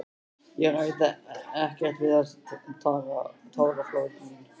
Ég ræð ekkert við þessi táraflóð mín.